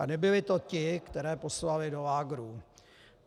A nebyli to ti, které poslali do lágrů.